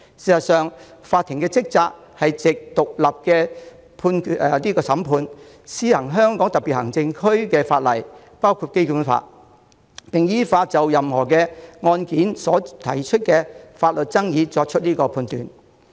事實上，法庭的職責是藉獨立審判，施行香港特別行政區的法律，包括《基本法》，並依法就任何案件所提出的法律爭議作出裁斷。